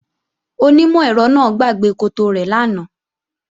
Onímọ̀-ẹ̀rọ náà gbàgbé koto rẹ̀ lánàá